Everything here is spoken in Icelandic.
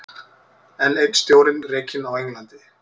Enn einn stjórinn rekinn á Englandi